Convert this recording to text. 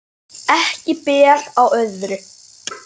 Ekki ber á öðru.